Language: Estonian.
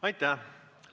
Aitäh!